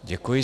Děkuji.